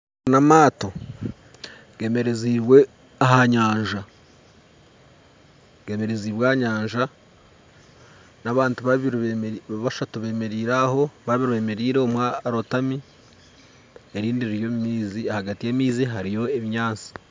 Omu harimu amaato gemereziibwe ahanyanja gemereziibwe ahanyanja nabantu babiri bashatu bemereire aho babiri bemereire omwe arotami nerindi riri omumaizi ahagati yamaizi hariyo obunyatsi